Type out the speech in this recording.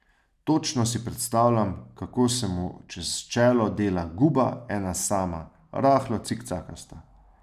Točno si predstavljam, kako se mu čez čelo dela guba, ena sama, rahlo cikcakasta.